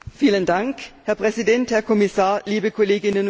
Herr Präsident, Herr Kommissar, liebe Kolleginnen und Kollegen!